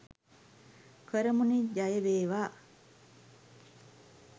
කරමු නේ ජය වේවා